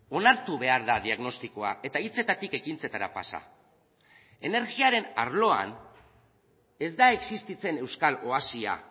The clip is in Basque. onartu behar da diagnostikoa eta hitzetatik ekintzetara pasa energiaren arloan ez da existitzen euskal oasia